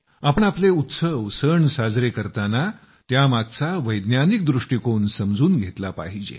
आपण आपले उत्सव सण साजरे करताना त्यामागचा वैज्ञानिक दृष्टीकोन समजून घेतला पाहिजे